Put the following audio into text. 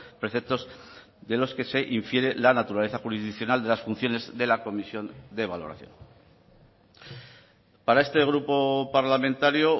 preceptos de los que se infiere la naturaleza jurisdiccional de las funciones de la comisión de valoración para este grupo parlamentario